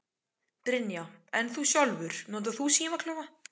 Brynja: En þú sjálfur, notar þú símaklefa?